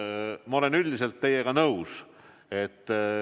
Ma olen üldiselt teiega nõus.